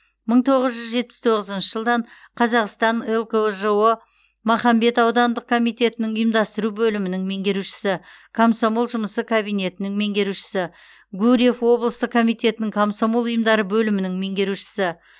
мың тоғыз жүз жетпіс тоғызыншы жылдан қазақстан лкжо махамбет аудандық комитетінің ұйымдастыру бөлімінің меңгерушісі комсомол жұмысы кабинетінің меңгерушісі гурьев облыстық комитетінің комсомол ұйымдары бөлімінің меңгерушісі